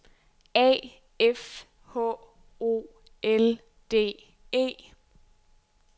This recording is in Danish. A F H O L D E